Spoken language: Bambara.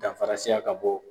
Danfara siya ka bɔ.